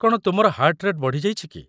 କ'ଣ ତୁମର heart rate ବଢ଼ି ଯାଇଛି କି?